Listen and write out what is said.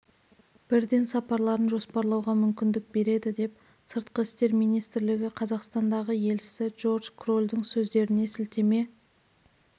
бірден сапарларын жоспарлауға мүмкіндік береді деп сыртқы істер министрлігі қазақстандағы елшісі джордж кролдың сөздеріне сілтеме